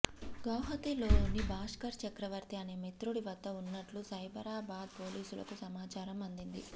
గౌహతిలోని భాస్కర్ చక్రవర్తి అనే మిత్రుడి వద్ద ఉన్నట్టు సైబరాబాద్ పోలీసులకు సమాచారం అందింది